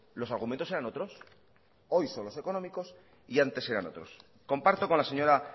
los argumentos eran otros hoy son los económicos y antes eran otros comparto con la señora